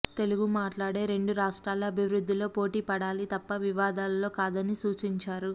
తెలుగు మాట్లాడే రెండు రాష్ట్రాలు అభివృద్ధిలో పోటీ పడాలి తప్ప వివాదాల్లో కాదని సూచించారు